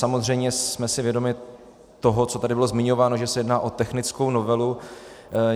Samozřejmě jsme si vědomi toho, co tady bylo zmiňováno, že se jedná o technickou novelu.